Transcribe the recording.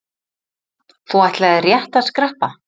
Þú ætlaðir rétt að skreppa.